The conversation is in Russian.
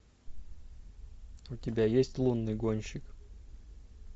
у тебя есть лунный гонщик